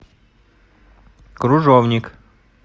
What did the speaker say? кружовник